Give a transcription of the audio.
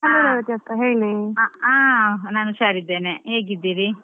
ಹ Hello ರೇವತಿಯಕ್ಕಾ ಹೇಳಿ.